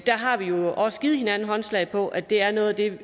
har vi jo også givet hinanden håndslag på at det er noget af det